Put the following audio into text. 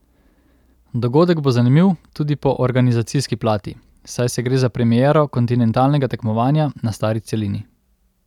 Dogodek bo zanimiv tudi po organizacijski plati, saj se gre za premiero kontinentalnega tekmovanja na Stari celini.